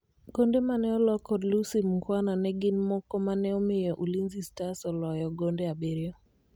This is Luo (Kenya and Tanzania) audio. gonde mane olo kod Lucy Mukhwana ne gin mokomane omiyo Ulinzi Starlets oloyo gonde abiriyo